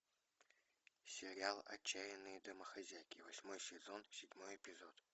сериал отчаянные домохозяйки восьмой сезон седьмой эпизод